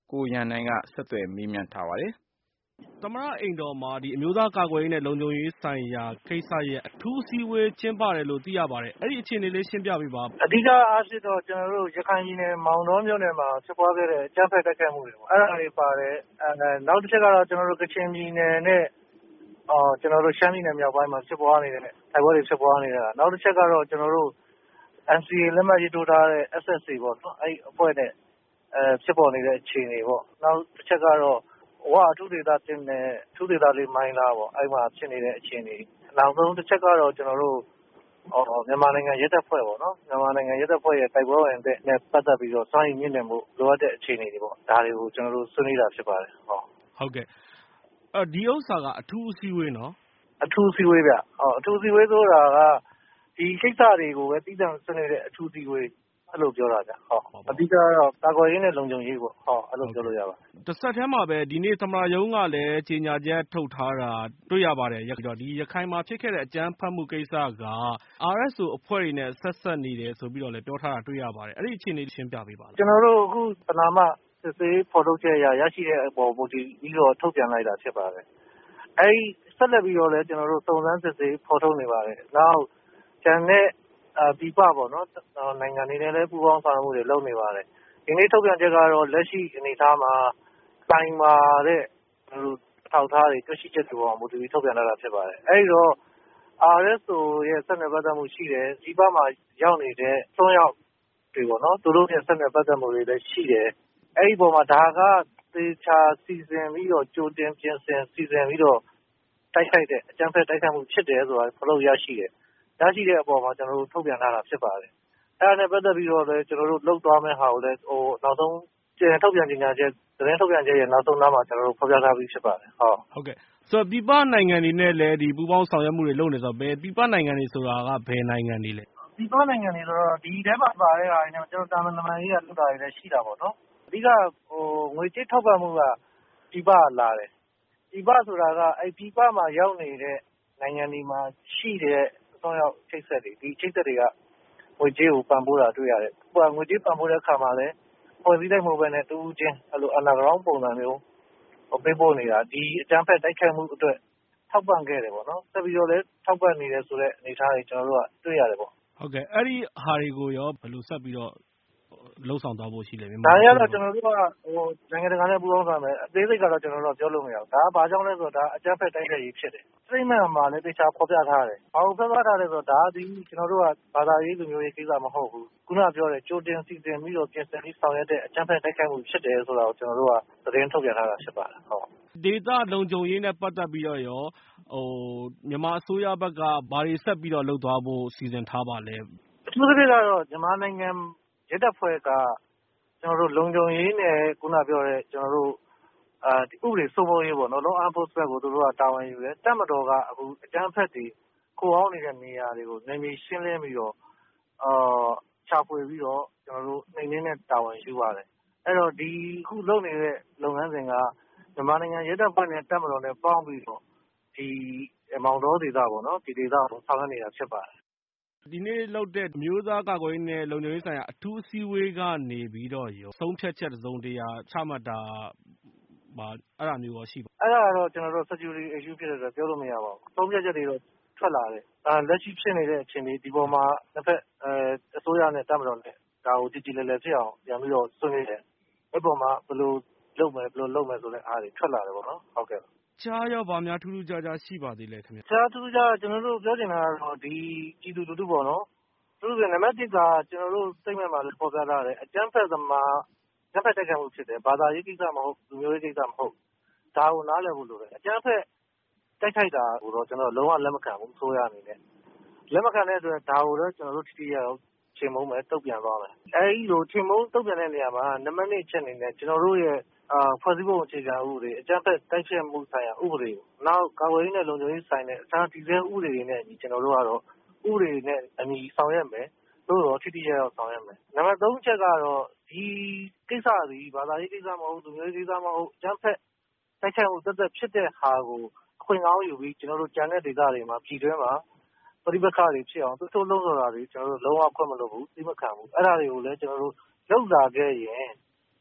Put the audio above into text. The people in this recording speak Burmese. ကိုရန်နိုင် ။ ။ သမ္မတအိမ်တော်မှာ အမျိုးသားကာကွယ်ရေး နဲ့ လုံခြုံရေးဆိုင်ရာ ကိစ္စရပ် အထူးအစည်းအဝေး ကျင်းပတယ်လို့သိရပါတယ်။ အဲ့ဒီ့အခြေအနေ ရှင်းပြပေးပါ။ ဦးဇော်ဌေး ။ ။ အဓိက အားဖြင့်တော့ ရခိုင်ပြည်နယ် မောင်တောမြို့နယ်မှာ ဖြစ်ခဲ့တဲ့ အကြမ်းဖက်တိုက်ခိုက်မှုတွေပေါ့ အဲ့တာတွေ ပါတယ်။ နောက်တခုကတော့ ကချင်ပြည်နယ်နဲ့ ရှမ်းပြည်နယ်မြောက်ပိုင်းမှာ တိုက်ပွဲတွေဖြစ်ပွားနေတဲ့ ဟာ၊ နောက်တချက်ကတော့ NCA လက်မှတ်ရေးထိုးထားတဲ့ SSA ပေါ့နော်။ အဲ့ဒီ့အဖွဲ့နဲ့ဖြစ်ပေါ်နေတဲ့ အခြေအနေပေါ့။ နောက်တချက်ကတော့ ဝအထူးဒေသ နဲ့ အထူးဒေသ မိုင်းလားပေါ့ အဲ့ဒီ့မှာ ဖြစ်နေတဲ့ အခြေအနေတွေ။ နောက်ဆုံး တချက်ကတော့ မြန်မာနိုင်ငံ ရဲတပ်ဖွဲ့ပေါ့နော်။ မြန်မာနိုင်ငံ ရဲတပ်ဖွဲ့ဝင်တွေ တိုက်ပွဲ စွမ်းရည်မြှင့်တင်ဖို့ လိုအပ်တဲ့အခြေအနေတွေပေါ့။ ဒါတွေကို ကျနော်တို့ ဆွေးနွေးတာဖြစ်ပါတယ်။ ကိုရန်နိုင် ။ ။ အဲ့ဒီ့တော့ ဒီဥစ္စာက အထူးအစည်းအဝေးနော်။ ဦးဇော်ဌေး။ ။ အထူးအစည်းအဝေးဗျ။ အထူးအစည်းအဝေးဆိုတာ ဒီကိစ္စတွေကိုပဲ သီးသန့်ဆွေးနွေးတဲ့အထူးအစည်းအဝေး အဲ့လိုပြောတာခင်ဗျ။ အဓိက ကတော့ ကာကွယ်ရေးနဲ့ လုံခြုံရေးပေါ့။ အဲ့လိုပြောလို့ရပါတယ်။ ကိုရန်နိုင် ။ ။ တဆက်တည်းပါပဲ ဒီနေ့ သမ္မတရုံးက ကြေညာချက် ထုတ်ထားတာ တွေ့ရပါတယ်။ ရခိုင်မှာဖြစ်ခဲ့တဲ့ အကြမ်းဖက်မှုကိစ္စက RSO အဖွဲ့နဲ့ ဆက်စပ်နေတယ်ဆိုပြီး ပြောထားတာ တွေ့ရပါတယ်။ အဲ့ဒီ့အခြေအနေကိုလည်း ရှင်းပြပေးပါ။ ဦးဇော်ဌေး။ ။ ကျနော်တို့ အခု ပဏာမ စစ်ဆေးဖော်ထုတ်ချက်အရ ရရှိတဲ့အပေါ် မူတည်ပြီးတော့ ထုတ်ပြန်လိုက်တာဖြစ်ပါတယ်။ ဆက်လက်ပြီးတော့လည်း စုံစမ်းစစ်ဆေးဖော်ထုတ်နေပါတယ်။ ကျန်တဲ့ပြည်ပနိုင်ငံတွေနဲ့လည်း ပူးပေါင်းဆောင်ရွက်မှုတွေ လုပ်နေပါတယ်။ ဒီနေ့ထုတ်ပြန်ချက်ကတော့ လက်ရှိအနေအထားမှာ ခိုင်မာတဲ့ အထောက်အထားတွေ တွေ့ရှိချက်တွေအပေါ်မှာ မူတည်ပြီး ထုတ်ပြန်ထားတာဖြစ်ပါတယ်။ အဲ့ဒီ့တော့ RSO နဲ့ ဆက်နွယ် ပတ်သက်မှုရှိတယ်။ ပြည်ပမှာ ရောက်နေတဲ့ အစွမ်းရောက်တွေနဲ့ သူတို့တွေနဲ့လည်း ဆက်နွယ်ပတ်သက်မှုတွေရှိတယ်။ အဲ့ဒီ့အပေါ်မှာ ဒါက သေချာစီစဉ်ပြီးတော့ ကြိုတင်ပြင်ဆင်ပြီးတော့ အကြမ်းဖက်တိုက်ခိုက်တဲ့ သဘောဖြစ်တယ် ဆိုတာ ဖော်ထုတ်ရရှိတယ်။ ရရှိတဲ့အပေါ်မှာ ကျနော်တို့ ထုတ်ပြန်တာဖြစ်ပါတယ်။ အဲ့တာနဲ့ပတ်သက်ပြီးတော့လည်း သတင်းထုတ်ပြန်ချက်ရဲ့ နောက်ဆုံးနားမှာ ကျနော်တို့ ဖော်ပြထားပြီးဖြစ်ပါတယ်။ ကိုရန်နိုင် ။ ။ ဆိုတော့ ပြည်ပနိုင်ငံတွေနဲ့လည်း ပူးပေါင်းဆောင်ရွက်မှုတွေ လုပ်နေတယ်ဆိုတော့ ဘယ်ပြည်ပနိုင်ငံတွေက ဘယ်နိုင်ငံတွေပါလဲ။ ဦးဇော်ဌေး။ ။ ပြည်ပနိုင်ငံတွေဆိုတာ ဒီထဲမှာ ပါတာက အဓိက ငွေကြေးထောက်ပံ့မှုက ပြည်ပက လာတယ်။ ပြည်ပ ဆိုတာက ပြည်ပမှာ ရောက်နေတဲ့ နိုင်ငံတွေမှာ ရှိတဲ့ အစွမ်းရောက် အချိတ်အဆက်တွေ ဒီအချိတ်အဆက်တွေက ငွေကြေးကို ပံ့ပိုးတာတွေ့ရတယ်။ ငွေကြေးပံ့ပိုးတဲ့အခါမှာလည်း အဖွဲ့အစည်းအလိုက်မဟုတ်ပဲ တဦးချင်း Under Ground ပုံစံမျိုး ပေးပို့နေတာ ဒီအကြမ်းဖက် တိုက်ခိုက်မှုအတွက် ထောက်ပံ့ခဲ့တယ်။ ဆက်ပြိးတော့လည်း ထောက်ပံ့နေတယ် ဆိုတဲ့အနေအထားတွေ ကျနော်တို့က တွေ့ရတယ်ပေါ့။ ကိုရန်နိုင် ။ ။ ဟုတ်ကဲ့ အဲ့တာတွေနဲ့ပတ်သက်ပြီးတော့ ဆက်ပြီးတော့ ဘယ်လိုလုပ်ဆောင်သွားဖို့ရှိပါသလဲ။ ဦးဇော်ဌေး။ ။ ဒါတွေကတော့ နိုင်ငံတကာနဲ့ပူးပေါင်းဆောင်ရွက်မယ်။ အသေးစိတ်ကတော့ ကျနော်တို့ ပြောလို့မရဘူး။ ဒါဟာ ဘာကြောင့်လဲဆိုတော့ အကြမ်းဖက်တိုက်ခိုက်ရေးဖြစ်တယ်။ ကြေညာချက်မှာလည်း ဒါကို သေချာဖော်ပြ ထားတယ်။ ဘာကိုဖော်ပြထားလဲဆိုတော့ ဒီကိစ္စက ဘာသာရေး၊ လူမျိုးရေး ကိစ္စမဟုတ်ဘူး။ ခုနကပြောတဲ့ ကြိုတင် စီစဉ်ပြီးတော့ ပြင်ဆင်ပြီးတော့ ဆောင်ရွက် တဲ့ အကြမ်းဖက် တိုက်ခိုက်မှုဖြစ်တယ်ဆိုတာ ကျနော်တို့က သတင်းထုတ်ပြန်ထားတာဖြစ်ပါတယ်။ ကိုရန်နိုင် ။ ။ ဒေသလုံခြုံရေးနဲ့ပတ်သက်ပြီးတော့ မြန်မာအစိုးရဘက်က ဘာတွေ ဆက်ပြီးတော့ လုပ်သွားဖို့ စီစဉ်ထားပါလဲ။ ဦးဇော်ဌေး။ ။ အထူးသဖြင့်ကတော့ မြန်မာနိုင်ငံ ရဲတပ်ဖွဲ့က လုံခြုံရေးနဲ့ ဥပဒေစိုးမိုးရေးပေါ့လေ။ အဲ့တာကို တာဝန်ယူတယ်။ တပ်မတော်က အကြမ်းဖက်တွေ ခိုအောင်းနေတဲ့နေရာတွေကို နယ်မြေရှင်းလင်း ရှာဖွေပြီးတော့ နှိမ်နှင်းတဲ့ တာဝန်ယူပါတယ်။ အဲ့တော့ အခုလုပ်နေတဲ့ လုပ်ငန်းစဉ်က မြန်မာနိုင်ငံ ရဲတပ်ဖွဲ့နဲ့ တပ်မတော်နဲ့ပေါင်းပြီးတော့ မောင်တောဒေသပေါ့။ ဒီဒေသကို ဆောင်ရွက်နေတာဖြစ်ပါတယ်။ ကိုရန်နိုင် ။ ။ ဒီနေ့လုပ်တဲ့ အမျိုးသားကာကွယ်ရေး နဲ့ လုံခြုံရေးဆိုင်ရာ အထူးအစည်းအဝေး ကနေပြီးတော့ရော ဆုံးဖြတ်ချက်တစုံတရာ ချမှတ်တာမျိုးရော ရှိပါလား။ ဦးဇော်ဌေး။ ။ အဲ့တာကတော့ လုံခြုံရေးကိစ္စဖြစ်တဲ့အတွက် ပြောလို့မရပါဘူး။ ဆုံးဖြတ်ချက်တွေတော့ ထွက်လာတယ်။ လက်ရှိဖြစ်နေတဲ့အခြေအနေ ဒီအပေါ်မှာ အစိုးရနဲ့တပ်မတော်နဲ့ ဒါကို ကြေကြေလည်လည်ဖြစ်အောင် ပြန်ပြီး ဆွေးနွေးတယ် အဲ့ဒီ့အပေါ်မှာ ဘယ်လိုလုပ်မယ် ဘယ်လိုလုပ်မယ်ဆိုပြီးတော့ ထွက်လာတယ်ပေါ့။ ကိုရန်နိုင် ။ ။ တခြားရော ဘာများထူးထူးခြားခြား ရှိပါသေးလဲခင်ဗျ။ ဦးဇော်ဌေး။ ။ တခြားထူးထူးခြားခြားကတော့ ကျနော်တို့ ပြောချင်တာ ကတော့ ပြည်သူလူထုပေါ့နော်။ အထူးသဖြင့် နံပတ်တစ်က ကျနော်တို့ကြေညာချက်မှာလည်း ဖော်ပြထားတယ်။ အကြမ်းဖက်သမားတွေရဲ့ အကြမ်းဖက်တိုက်ခိုက်မှုဖြစ်တယ်။ ဘာသာရေးကိစ္စမဟုတ်ဘူး။ လူမျိုးရေးကိစ္စမဟုတ်ဘူး ဒါကို နားလည်ဖို့လိုတယ်။ အကြမ်းဖက်တိုက်ခိုက်တာကို အစိုးရအနေနဲ့ ဒါကို လုံးဝ လက်မခံဘူး။ ဒါကိုတော့ ကျနော်တို့ ထိထိရောက်ရောက်ချေမှုန်းမယ်။ တုန့်ပြန်မယ်။ အဲ့သလို ချေမှုန်းတုန့်ပြန်တဲ့နေရာမှာ နံပတ်၂အချက်အနေနဲ့ ကျနော်တို့ရဲ့ ဖွဲ့စည်းပုံအခြေခံဥပဒေ ၊ အကြမ်းဖက် တိုက်ဖျက်မှု ဆိုင်ရာ ဥပဒေ နောက် ကာကွယ်ရေး နဲ့ လုံခြုံရေးနဲ့ဆိုင်တဲ့ အခြားတည်ဆဲဥပဒေတွေနဲ့ ဥပဒေနဲ့အညီ ကျနော်တို့ကတော့ ဆောင်ရွက်မယ်။ ထိထိရောက်ရောက်ဆောင်ရွက်မယ်။ နံပတ် ၃ အချက်ကတော့ ဒီကိစ္စသည် ဘာသာရေးကိစ္စမဟုတ် လူမျိုးရေး ကိစ္စမဟုတ် အကြမ်းဖက်တိုက်ခိုက်မှု သပ်သပ်ဖြစ်တဲ့ဟာကို အခွင့်ကောင်းယူပြီး ကျန်တဲ့ဒေသတွေမှာ ပြည်တွင်းမှာ ပဋိပက္ခတွေဖြစ်အောင် သွေးထိုးလှုံ့ဆော်တာတွေ ကျနော်တို့ လုံးဝ ခွင့်မလွှတ်ဘူး။ သီးမခံဘူး။ အဲ့တာတွေကို လုပ်လာခဲ့ရင် ကျ